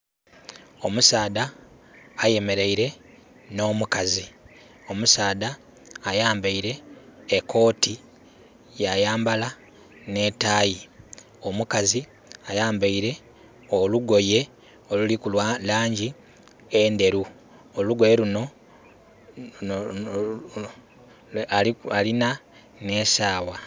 Omusaadha ayemeleire nh'omukazi. Omusaadha ayambaile e kooti, ya yambala nh'etaayi. Omukazi ayambaile olugoye oluliku...lwa langi endheru. Olugoye lunho....alina nh'esaawa.